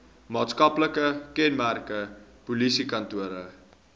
maatskaplike kenmerke polisiekantore